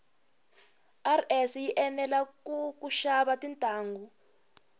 rs yi enela kushava tintangu